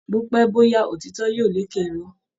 Bópẹ́ bóyá òtítọ́ yóò lékè Irọ́